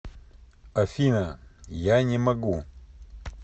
афина я не могу